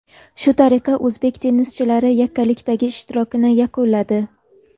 Shu tariqa, o‘zbek tennischilari yakkalikdagi ishtirokini yakunladi.